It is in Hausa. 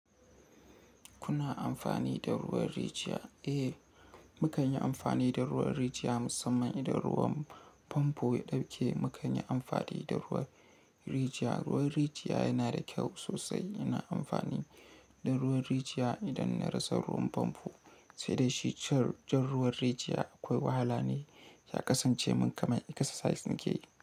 Kuna amfani da ruwan rijiya? Eh, mu kan yi amfani da ruwan rijiya musamman idan ruwan famfo ya ɗauke. Mu kan yi amfani da ruwan rijiya. Ruwan rijiya yana da kyau sosai. Ina amfani da ruwan rijiya idan na rasa ruwan famfo. Sai dai shi can, jan ruwan rijiya akwai wahala ne. Ya kasance mun kamar exercise nake yi.